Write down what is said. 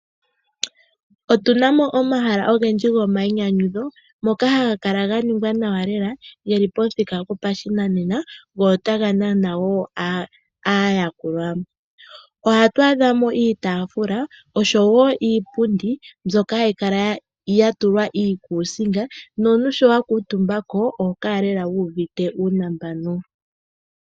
Otuna mo omahala ogendji gomainyanyudho moka haga kala ga ningwa nawa lela. Ogeli pamuthika gopashinanena go otaga nana wo aayakulwa. Ohatu adha mo iitaafula oshowo iipundi mbyoka hayi kala ya tulwa iikuusinga nomuntu sho wa kuutumba mo oho kala lela wu uvite uunambano.